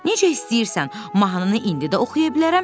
Necə istəyirsən, mahnını indi də oxuya bilərəm,